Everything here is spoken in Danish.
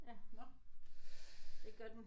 Nåh